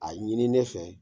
A ɲini ne fɛ